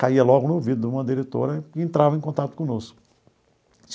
Caia logo no ouvido de uma diretora e entrava em contato conosco.